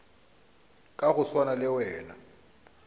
ka go swana le wena